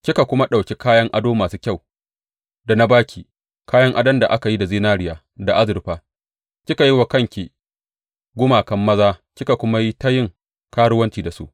Kika kuma ɗauki kayan ado masu kyau da na ba ki, kayan adon da aka yi da zinariya da azurfa, kika yi wa kanki gumakan maza kika kuma yi ta yin karuwanci da su.